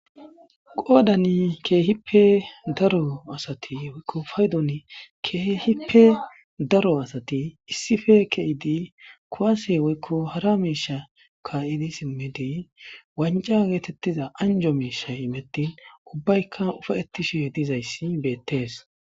qoodani keehippe daro asati woykko faydon keehippe daro asati issife ke'idi kowase woykko hara miisha ka'idi simmidi wanca geetettiza anjo miisha imettin ubbayka ufa'etishe dizayssi beettees